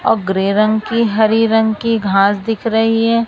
और ग्रे रंग की हरी रंग की घास दिख रही है।